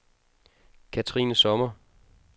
Kathrine Sommer